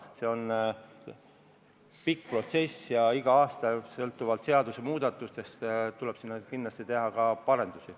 See on pikk protsess ja igal aastal tuleb sinna sõltuvalt seadusemuudatustest teha ka parendusi.